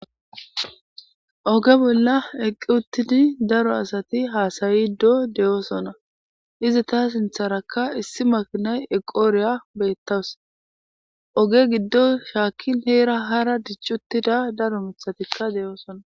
Oge bolla eqqi uttidi daro asati haasayiddo deyosona. Izi ta sintharaka issi makinay eqo wuriya beettawus. oge giddo shaakkin heera hara dici uttida daro mithatikka de7oosona.